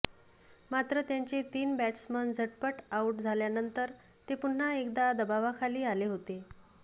मात्र त्यांचे तीन बॅट्समन झटपट आऊट झाल्यानंतर ते पुन्हा एकदा दबावाखाली आले होते